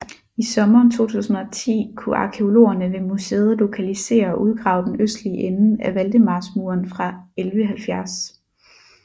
I sommeren 2010 kunne arkæologerne ved museet lokalisere og udgrave den østlige ende af Valdemarsmuren fra 1170